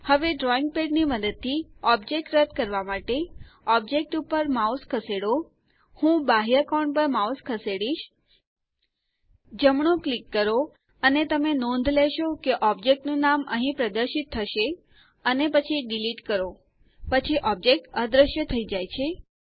હવે drawing pad પરથી object રદ કરવા માટે ઓબ્જેક્ટ ઉપર માઉસ ખસેડો હું બાહ્ય કોણ પર માઉસ ખસેડીશ જમણું ક્લિક કરો અને તમે નોંધ લેશો કે ઓબ્જેક્ટ નું નામ અહીં પ્રદર્શિત થશે અને પછી ડિલીટ કરો પછી ઓબ્જેક્ટ અદૃશ્ય થઈ જાય છે